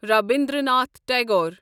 Rabindranath Tagore